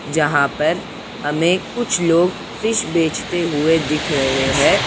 जहाँ पर हमें कुछ लोग फिश बेचते हुए दिख रहें हैं।